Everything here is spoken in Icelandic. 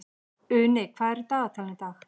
Uni, hvað er í dagatalinu í dag?